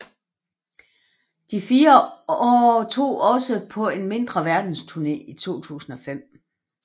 De fire tog også på en mindre verdensturné i 2005